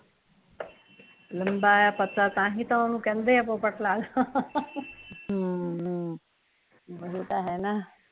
ਲੰਮਾ ਐ ਪਤਲਾ ਐ ਤਾਂ ਹੀਂ ਤਾਂ ਓਹਨੂ ਕਹਿਦੇ ਆ ਪੋਪੇਟ ਲਾਲ ਹਮ, ਓਹੀ ਤਾਂ ਹੈ ਨਾ